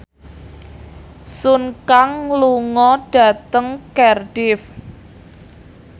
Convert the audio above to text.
Sun Kang lunga dhateng Cardiff